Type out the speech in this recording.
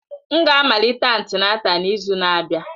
M ga-amalite antịnátál n'izu na-abịa.